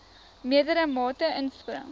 meerdere mate inspring